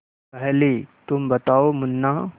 पहले तुम बताओ मुन्ना